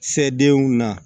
Se denw na